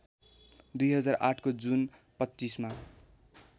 २००८ को जुन २५ मा